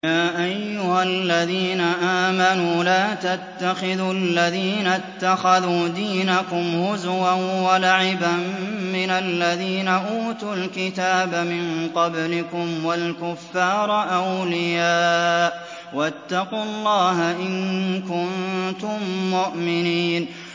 يَا أَيُّهَا الَّذِينَ آمَنُوا لَا تَتَّخِذُوا الَّذِينَ اتَّخَذُوا دِينَكُمْ هُزُوًا وَلَعِبًا مِّنَ الَّذِينَ أُوتُوا الْكِتَابَ مِن قَبْلِكُمْ وَالْكُفَّارَ أَوْلِيَاءَ ۚ وَاتَّقُوا اللَّهَ إِن كُنتُم مُّؤْمِنِينَ